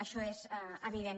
això és evident